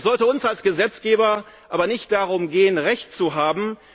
Es sollte uns als Gesetzgeber aber nicht darum gehen, recht zu haben.